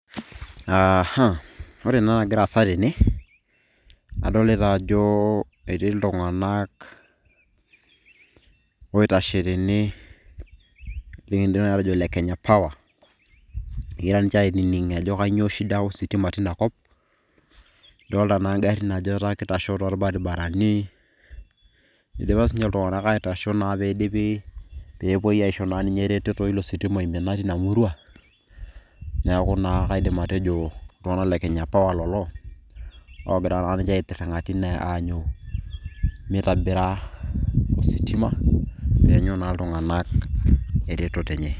Aaha, ore naa enagira aasa tene, adolita ajo etii iltung'anak oitashe tene, nikidim nai atejo le kenya power, kegira ninche ainining' ajo kanyioo shida ositima tinakop. Adolta naa garrin ajo etaa kitashoo torbaribarani, idipa sinche iltung'anak aitasho na pidipi. Pepoi aisho na ninche ereteto ilo sitima oimina tina murua. Neeku naa kaidim atejo iltung'anak le kenya power lelo, ogira na ninche aitirring'a tine mitobira ositima, neenyu na iltung'anak ereteto enye.